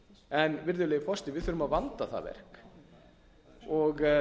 en virðulegi forseti við þurfum að vanda það verk og